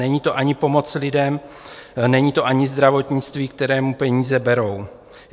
Není to ani pomoc lidem, není to ani zdravotnictví, kterému peníze berou.